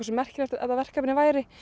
merkilegt þetta verkefni væri